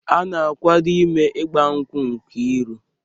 A na-akwado ime ịgba nkwụ Nkiru